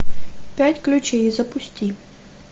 пять ключей запусти